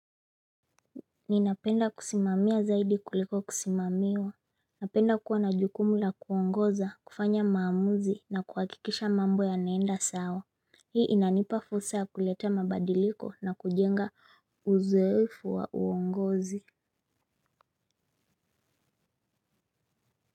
Ninapenda kusimamia zaidi kuliko kusimamiwa. Napenda kuwa na jukumu la kuongoza, kufanya maamuzi na kuhakikisha mambo yanaenda sawa. Hii inanipa fursa kuletea mabadiliko na kujenga uzoefu wa uongozi.